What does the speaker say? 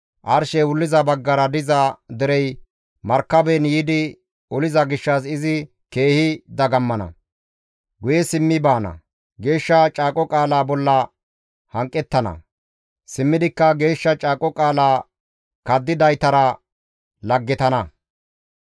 Arshey wulliza baggara diza derey markaben yiidi oliza gishshas izi keehi dagammana; guye simmi baana; geeshsha caaqo qaalaa bolla hanqettana; simmidikka geeshsha caaqo qaalaa kaddidaytara laggetana.